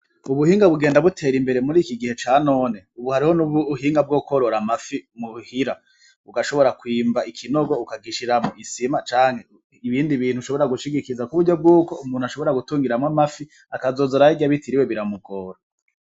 Ubuhinga bugenda butera imbere muri iki gihe ca none. ubu hariho n'ubuhinga bwo kworora amafi muhira, ugashobora kwimba ikinogo ukagishiramwo isima canke ibindi bintu ushobora gushigikiza ku buryo bw'uko umuntu ashobora kutungiramo amafi, akazoza arayarya bitiriwe biramugora.